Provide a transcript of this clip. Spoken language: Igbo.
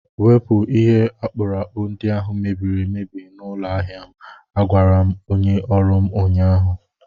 Wepụ ihe akpụrụakpụ ndị ahụ mebiri emebi n'ụlọ ahịa m! Agwara m onye ọrụ m ụnyaahụ.